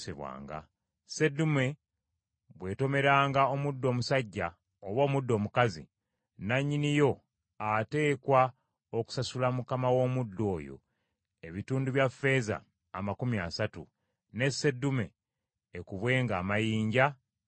Seddume bw’etomeranga omuddu omusajja oba omuddu omukazi, nannyini yo ateekwa okusasula mukama w’omuddu oyo, ebitundu bya ffeeza amakumi asatu, ne seddume ekubwenga amayinja efe.